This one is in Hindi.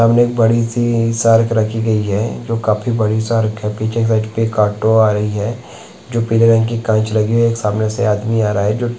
सामने एक बड़ी- सी शार्क रखी गयी है जो काफ़ी बड़ी शार्क है पीछे साइड एक ऑटो आ रही है जो पीले रंग की काँच लगी हुई है एक सामने से आदमी आ रहा है जो --